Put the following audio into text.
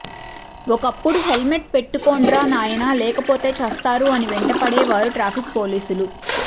ఒకప్పుడు హెల్మెట్ పెట్టుకోండ్రా నాయనా లేకపోతే ఛస్తారు అని వెంటపడే వారు ట్రాఫిక్ పోలీసులు